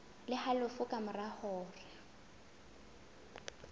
le halofo ka mora hora